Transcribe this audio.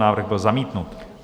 Návrh byl zamítnut.